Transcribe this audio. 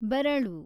ಬೆರಳು